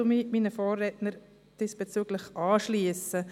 Ich schliesse mich meinen Vorrednern diesbezüglich an.